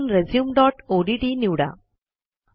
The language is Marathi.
त्यातून रिझ्यूम डॉट ओडीटी निवडा